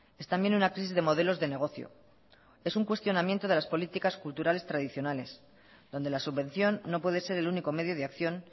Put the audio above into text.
es también una crisis de modelos de negocio es un cuestionamiento de las políticas culturales tradicionales donde la subvención no puede ser el único medio de acción